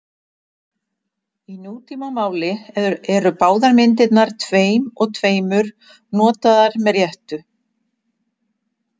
Í nútímamáli eru báðar myndirnar tveim og tveimur notaðar með réttu.